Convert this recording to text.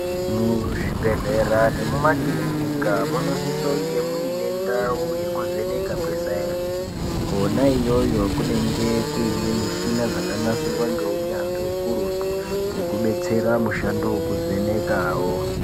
Muzvibhedhlera nemumakirinika munosisonge mune ndau yekuvheneka kweSainzi. Kona iyoyo kunenge kuine mishina yakanasirwa ngeunyanzvi ukurutu hwekubetsera mushando wekuvhenekawo.